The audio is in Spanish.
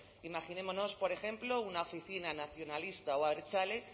imaginémonos por ejemplo una oficina nacionalista o abertzale